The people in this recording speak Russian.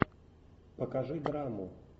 покажи драму